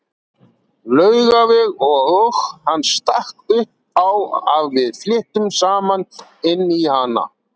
Laugaveg og hann stakk upp á að við flyttum saman inn í hana.